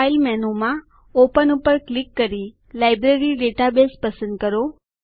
file મેનુમાં open ઉપર click કરી લાઇબ્રેરી ડેટાબેઝ પસંદ કરો